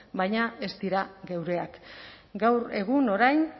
baina ez dira geureak gaur egun orain